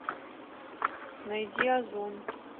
найди озон